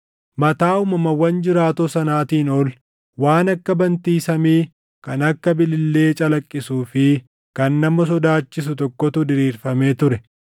Mataa uumamawwan jiraatoo sanaatiin ol waan akka bantii samii kan akka bilillee calaqqisuu fi kan nama sodaachisu tokkotu diriirfamee ture.